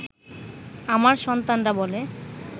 আমার সন্তানরা বলে